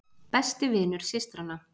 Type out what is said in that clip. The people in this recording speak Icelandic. Besti vinur systranna!